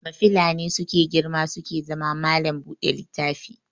Mafila ne suke girma suke zama mallam buɗe littafi